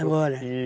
Agora?